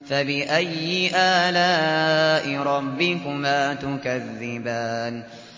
فَبِأَيِّ آلَاءِ رَبِّكُمَا تُكَذِّبَانِ